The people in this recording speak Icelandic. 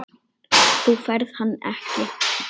Þú færð hann ekki.